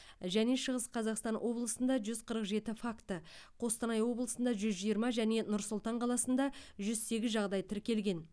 және шығыс қазақстан облысында жүз қырық жеті факті қостанай облысында жүз жиырма және нұр сұлтан қаласында жүз сегіз жағдай тіркелген